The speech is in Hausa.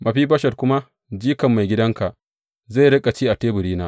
Mefiboshet kuma, jikan maigidanka, zai riƙa ci a teburina.